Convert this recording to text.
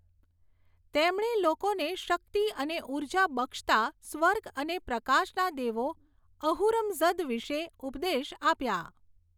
તેમણે લોકોને શકિત અને ઊર્જા બક્ષતા સ્વર્ગ અને પ્રકાશના દેવો અહુરમઝદ વિષે ઉપદેશ આપ્યાં.